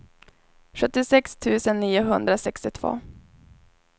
sjuttiosex tusen niohundrasextiotvå